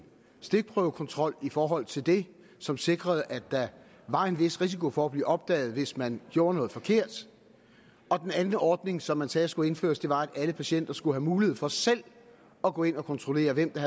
stikprøvekontrol i forhold til det som sikrede at der var en vis risiko for at blive opdaget hvis man gjorde noget forkert og den anden ordning som man sagde skulle indføres var at alle patienter skulle have mulighed for selv at gå ind og kontrollere hvem der